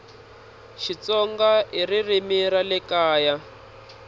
xitsonga ririmi ra le kaya